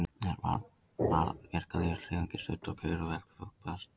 Jafnframt var verkalýðshreyfingin studd og kjör verkafólks bætt.